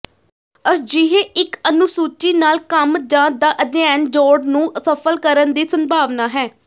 ਅਜਿਹੇ ਇੱਕ ਅਨੁਸੂਚੀ ਨਾਲ ਕੰਮ ਜ ਦਾ ਅਧਿਐਨ ਜੋੜ ਨੂੰ ਸਫ਼ਲ ਕਰਨ ਦੀ ਸੰਭਾਵਨਾ ਹੈ